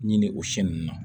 Ɲini o si ninnu na